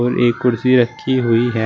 एक कुर्सी रखी हुई है।